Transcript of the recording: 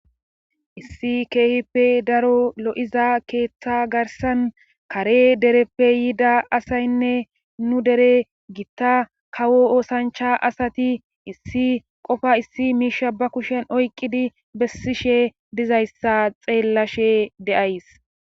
issi keehippe daro lo7iza keeththa garsan kare dereppe yiida asaynne nu dere gitta kawo oosancha asati issi qofa issi miisha ba kushen oyqqidi bessishe dizayssa xeellashe de7ays